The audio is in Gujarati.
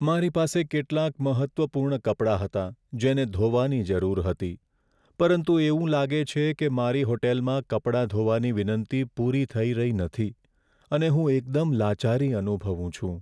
મારી પાસે કેટલાંક મહત્ત્વપૂર્ણ કપડાં હતાં જેને ધોવાની જરૂર હતી, પરંતુ એવું લાગે છે કે મારી હોટલમાં કપડાં ધોવાની વિનંતી પૂરી થઈ રહી નથી, અને હું એકદમ લાચારી અનુભવું છું.